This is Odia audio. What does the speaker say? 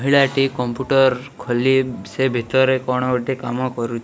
ପିଲାଟି କମ୍ପୁଟର ଖୋଲି ସେ ଭିତରେ କ'ଣ ଗୋଟେ କାମ କରୁ --